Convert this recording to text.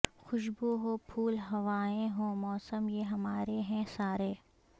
خوشبو ہو پھول ہوائیں ہوں موسم یہ ہمارے ہیں سارے